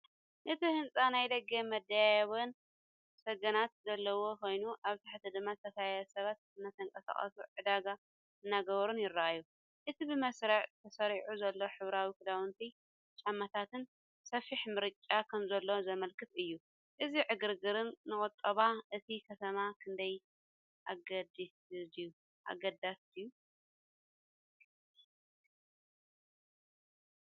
እቲ ህንጻ ናይ ደገ መደያይቦን ሰገነት ዘለዎ ኮይኑ፡ ኣብ ታሕቲ ድማ ዝተፈላለዩ ሰባት እናተንቀሳቐሱን ዕዳጋ እናገበሩን ይረኣዩ። እቲ ብመስርዕ ተሰሪዑ ዘሎ ሕብራዊ ክዳውንትን ጫማታትን ሰፊሕ ምርጫ ከምዘሎ ዘመልክት እዩ። እዚ ዕግርግርን ንቁጠባ እታ ከተማ ክንደይ ኣገዳሲድዩ?